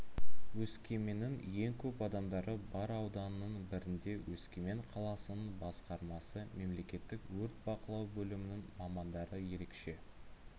өскеменнің ең көп адамдары бар ауданның бірінде өскемен қаласының басқармасы мемлекеттік өрт бақылау бөлімінің мамандары ерекше